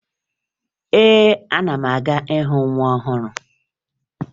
Ee, ana m aga ịhụ nwa ọhụrụ